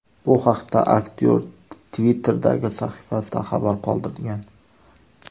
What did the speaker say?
Bu haqda aktyor Twitter’dagi sahifasida xabar qoldirgan .